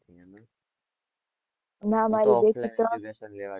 ના ના